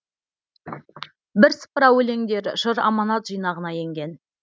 бірсыпыра өлеңдері жыр аманат жинағына енген